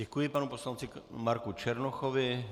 Děkuji panu poslanci Marku Černochovi.